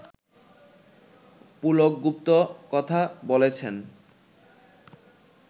পুলক গুপ্ত কথা বলেছেন